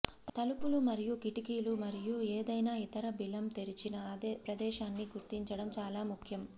తలుపులు మరియు కిటికీలు మరియు ఏదైనా ఇతర బిలం తెరిచిన ప్రదేశాన్ని గుర్తించడం చాలా ముఖ్యం